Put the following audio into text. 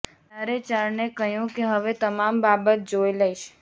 ત્યારે ચારણે કહ્યું કે હવે તમામ બાબત જોઈ લઈશ